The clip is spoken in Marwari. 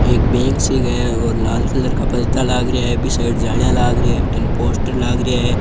एक बैंक सी क है और लाल कलर का परदा लाग रहिया है बी साइड जालिया लाग रहीं है और अठीने पोस्टर लाग रिया है।